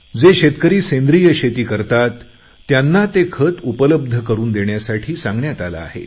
जे शेतकरी सेंद्रिय शेती करतात त्यांना ते खत उपलब्ध करून देण्यासाठी सांगण्यात आले आहे